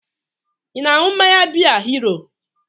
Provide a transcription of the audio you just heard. Ị na-aṅụ mmanya biya Hiro?